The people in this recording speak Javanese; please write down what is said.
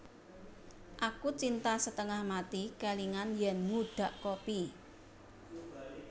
Aku cinta setengah mati kelingan yen ngudhak kopi